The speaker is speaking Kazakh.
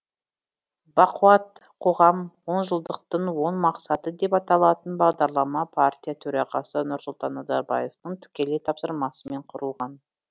бақуатты қоғам онжылдықтың он мақсаты деп аталатын бағдарлама партия төрағасы нұрсұлтан назарбаевтың тікелей тапсырмасымен құрылған